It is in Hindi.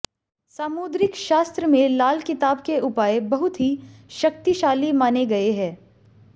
सामुद्रिक शास्त्र में लाल किताब के उपाय बहुत ही शक्तिशाली माने गए हैं